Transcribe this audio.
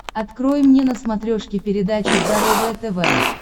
открой мне на смотрешке передачу здоровое тв